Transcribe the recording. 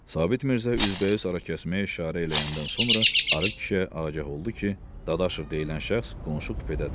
Sabit Mirzə üzbəüz arakesməyə işarə eləyəndən sonra arıq kişiyə agah oldu ki, Dadaşov deyilən şəxs qonşu kupedədir.